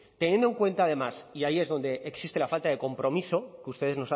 teniendo en cuenta además y ahí es donde existe la falta de compromiso que ustedes